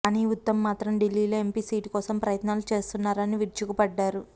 కానీ ఉత్తమ్ మాత్రం ఢిల్లీలో ఎంపి సీటు కోసం ప్రయత్నాలు చేస్తున్నారని విరుచుకపడ్డారు